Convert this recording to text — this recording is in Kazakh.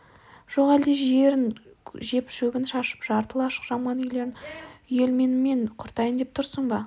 жоқ әлде жерін жеп шөбін шашып жарты лашық жаман үйлерін үйелменімен құртайын деп тұрсың ба